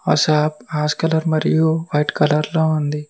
ఆ shop ash colour మరియు white colour లో ఉంది.